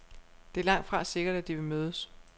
Det er langtfra sikkert, at de vil mødes.